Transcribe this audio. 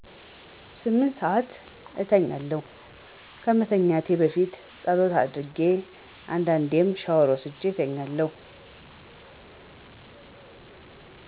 ስምንት ሰአት እተኛለሁ። ከመተኛቴም በፊትጸሎት አድርጌ አንዴዴም ሻወር ወስጄ እተኛለሁ።